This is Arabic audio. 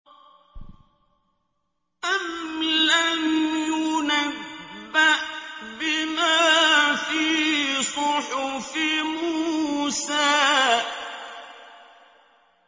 أَمْ لَمْ يُنَبَّأْ بِمَا فِي صُحُفِ مُوسَىٰ